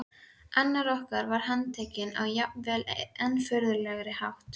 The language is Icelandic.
Annar okkar var handtekinn á jafnvel enn furðulegri hátt.